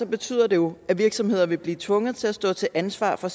betyder det jo at virksomheder vil blive tvunget til at stå til ansvar for